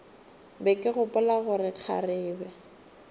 be ke gopola gore kgarebe